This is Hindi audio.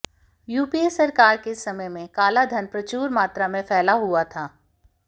यूपीए सरकार के समय में काला धन प्रचुर मात्रा में फैला हुआ था